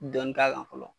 Dɔnni k'a kan fɔlɔ